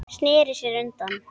Sneri sér undan.